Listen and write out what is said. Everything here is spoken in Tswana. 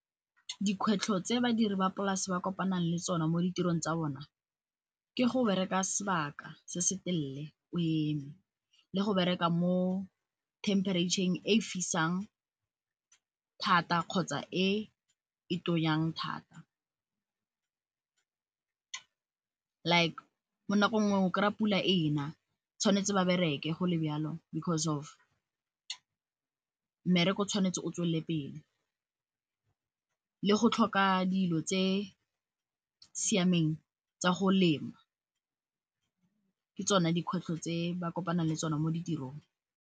Dikgwetlho tse badiri ba polase ba kopanang le tsona mo ditirong tsa bone ke go bereka sebaka se se telele o eme, le go bereka mo themperetšheng e fisang thata kgotsa e e tonyang thata. Like ka nako nngwe o kry-a pula ena, mme ba tshwanetse go bereka go le jalo because of mmereko o tshwanetse o tswelele pele. Le go tlhoka dilo tse di siameng tsa go lema ke tsone dikgwetlho tse ba kopanang le tsona mo ditirong.